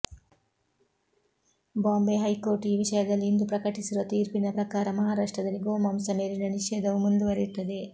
Bombay high court ಈ ವಿಷಯದಲ್ಲಿ ಇಂದು ಪ್ರಕಟಿಸಿರುವ ತೀರ್ಪಿನ ಪ್ರಕಾರ ಮಹಾರಾಷ್ಟ್ರದಲ್ಲಿ ಗೋಮಾಂಸ ಮೇಲಿನ ನಿಷೇಧವು ಮುಂದುವರಿಯುತ್ತದೆ